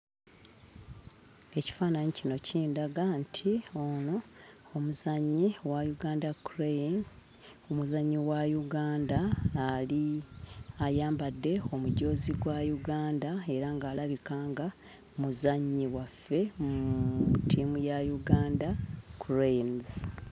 Ekifaananyi kino kindaga nti ono omuzannyi wa Uganda Crane, omuzannyi wa Uganda ali... ayambadde omujoozi gwa Uganda era ng'alabika nga muzannyi waffe mu ttiimu ya Uganda Cranes.